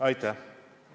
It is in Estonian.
Aitäh!